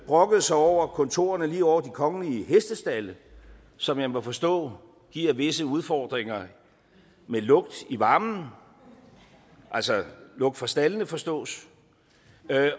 brokkede sig over kontorerne lige over de kongelige stalde som jeg må forstå giver visse udfordringer med lugt i varmen altså lugt fra staldene forstås